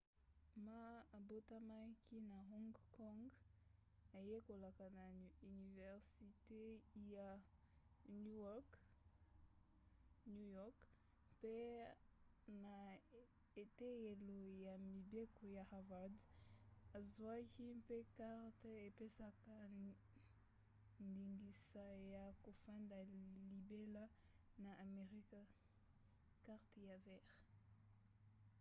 ma abotamaki na hong kong ayekolaka na universite ya new york mpe na eteyelo ya mibeko ya harvard azwaki mpe karte epesaka ndingisa ya kofanda libela na amerika karte ya vert